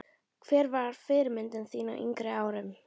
Hver var fyrirmynd þín á yngri árum?